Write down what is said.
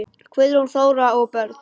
Guðrún Þóra og börn.